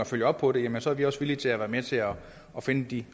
følge op på dem så er vi også villige til at være med til at finde de